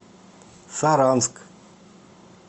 саранск